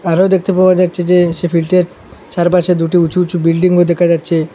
আরো দেখতে পাওয়া যাচ্ছে যে সে ফিল্টের চারপাশে দুটি উচু উঁচু বিল্ডিংও দেখা যাচ্ছে।